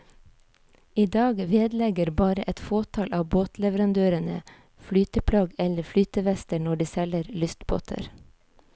I dag vedlegger bare et fåtall av båtleverandørene flyteplagg eller flytevester når de selger lystbåter.